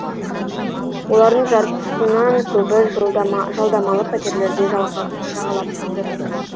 олардың жартысынан көбі жалдамалы пәтерлерді жағалап жүр